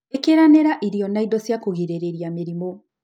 Ikĩranĩra irio na indo cia kũgirĩrĩria mĩrimũ.